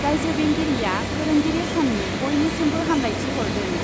रायजो बेंगिरिआ फोरोंगिरि साननि बयनिसिमबो हामब्लायथि हरदों।